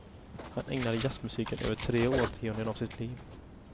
Han ägnade jazzmusiken över tre årtionden av sitt liv.